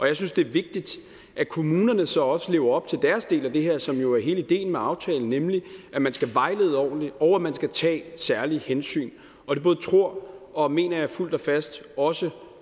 jeg synes det er vigtigt at kommunerne så også lever op til deres del af det her som jo er hele ideen med aftalen nemlig at man skal vejlede ordentligt og at man skal tage særlige hensyn og det både tror og mener jeg fuldt og fast også